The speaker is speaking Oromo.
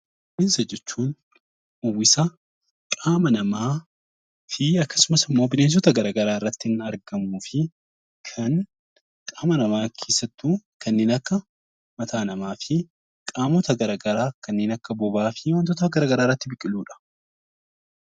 Rifeensa jechuun uwwisa qaama namaa fi akkasumas immoo bineensota gara garaa irratti kan argamuu fi kan qaama namaa keessattuu kanneen akka mataa namaa fi qaamota gara garaa kanneen akka bobaa fi wantoota garaa garaa irratti biqiludha